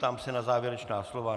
Ptám se na závěrečná slova.